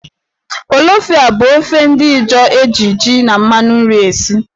Polofiyai bụ ofe ndị Ịjọọ eji jí na mmanụ nri esi.